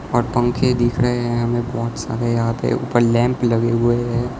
और पंखे दिख रहे हैं हमें बहोत सारे यहां पे ऊपर लैंप लगे हुए हैं।